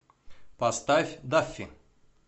поставь даффи